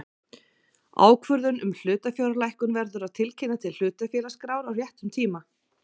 Ákvörðun um hlutafjárlækkun verður að tilkynna til hlutafélagaskrár á réttum tíma.